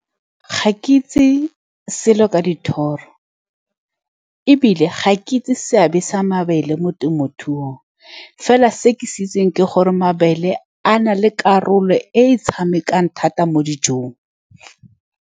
Ga ke itse selo ka dithoro, ebile ga ke itse seabe sa mabele mo temothuong. Fela se ke se itseng ke gore mabele a na le karolo e e tshamekang thata mo dijong.